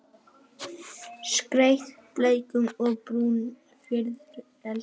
Skreytt bleikum og brúnum fiðrildum.